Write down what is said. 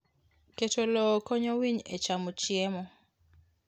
Keto lowo konyo winy e chamo chiemo.